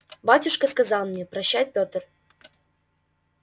батюшка сказал мне прощай петр